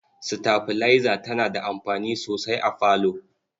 Sitabilaiza tana da amfani sosai a falo.